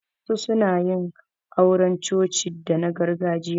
Wasu suna yin auran coci dana gargajiya.